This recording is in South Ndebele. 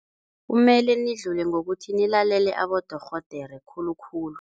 Kumele nidlule ngokuthi nilalele abodorhodere khulukhulu.